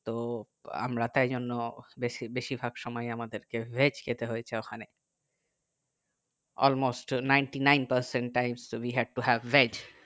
তো আমরা তাই জন্য বেশি বেশির ভাগ সময়ে আমাদেরকে veg খেতে হয়েছে ওখানে almost ninety ninety-nine percent times to be had to have veg